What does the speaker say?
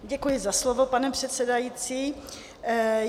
Děkuji za slovo, pane předsedající.